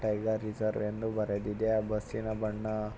tiger reserve ಎಂದು ಬರೆದಿದೆ ಆ ಬಸ್ಸಿನ ಬಣ್ಣ --